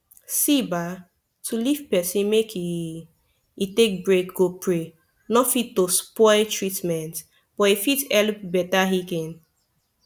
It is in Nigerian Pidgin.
see bah to leave pesin make e e take break go pray nor fit to spoil treatment but e fit helep beta heaking